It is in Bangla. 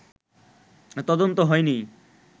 তদন্ত হয়নি